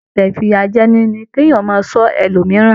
Ẹsẹ ifiyajẹni ní kí ènìyàn máa sọ ẹlòmíràn.